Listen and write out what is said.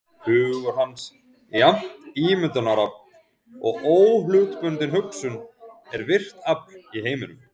Hugur hans, jafnt ímyndunarafl og óhlutbundin hugsun, er virkt afl í heiminum.